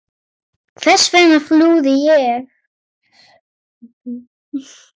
Hvers vegna flúði ég?